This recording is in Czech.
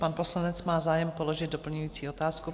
Pan poslanec má zájem položit doplňující otázku.